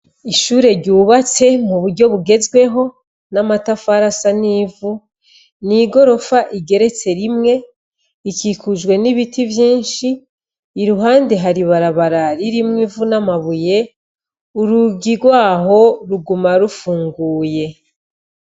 Ishure ryubatse muburyo bugezweho n'amatafari asa n'ivu, n'igorofa, igeretse rimwe, ikikujwe n'ibiti vyinshi. Iruhande hari ibarabara ririmwo ivu n'amabuye. Urugi rwaho, ruguma rufunguye.